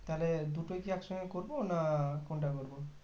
তাহলে দুটোই একসঙ্গে কি করবো না আহ কোনটা করবো